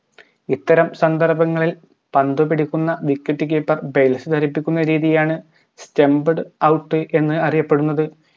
ഇത്തരം സന്ദർഭങ്ങളിൽ പന്ത് പിടിക്കുന്ന wicket keeperbase തെറിപ്പിക്കുന്ന രീതിയാണ് stumped out എന്ന് അറിയപ്പെടുന്നത്